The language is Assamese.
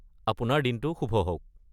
আপোনাৰ দিনটো শুভ হওক!